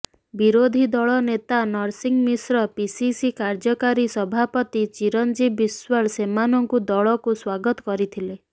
ବିରୋଧୀ ଦଳ ନେତା ନରସିଂହ ମିଶ୍ର ପିସିସି କାର୍ଯ୍ୟକାରୀ ସଭାପତି ଚିରିଞ୍ଜୀବ ବିଶ୍ୱାଳ ସେମାନଙ୍କୁ ଦଳକୁ ସ୍ୱାଗତ କରିଥିଲେ